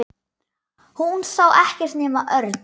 Hún sá ekkert nema Örn.